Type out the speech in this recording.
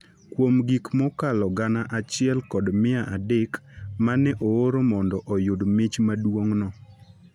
Kuom gik mokalo gana achie kod mia adek ma ne ooro mondo oyud mich maduong’no,